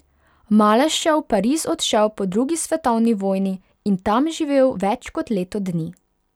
Maleš je v Pariz odšel po drugi svetovni vojni in tam živel več kot leto dni.